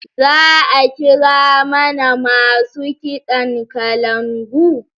Za'a kira mana masu kiɗan kalangu?